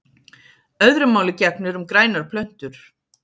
Öðru máli gegnir um grænar plöntur.